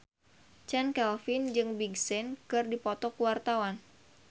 Chand Kelvin jeung Big Sean keur dipoto ku wartawan